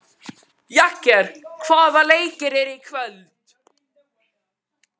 Jagger, hvaða leikir eru í kvöld?